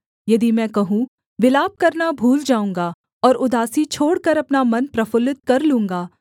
यदि मैं कहूँ विलाप करना भूल जाऊँगा और उदासी छोड़कर अपना मन प्रफुल्लित कर लूँगा